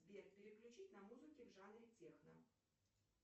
сбер переключить на музыке в жанре техно